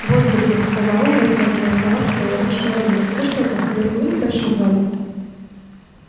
вот вы где сказал он растягивая слова в своей обычной манере вы что там заснули в большом зале